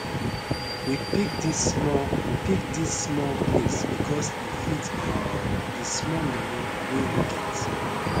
we pick this small pick this small place because e fit um d small money way we get